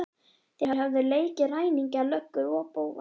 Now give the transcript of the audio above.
Þeir höfðu leikið ræningja, löggur og bófa.